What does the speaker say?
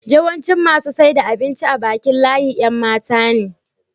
yawancin masu saida abinci a Bakin layin Yan matane